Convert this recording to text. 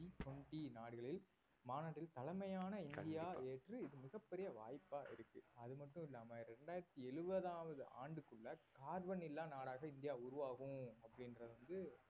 G twenty நாடுகளில் மாநாட்டில் தலைமையான இந்தியா ஏற்று இது மிக பெரிய வாய்ப்பா இருக்கு அதுமட்டுமில்லாம இரண்டாயிரத்தி எழுவதாவது ஆண்டுக்குள்ள கார்பன் இல்லா நாடாக இந்தியா உருவாகும் அப்படின்றதை வந்து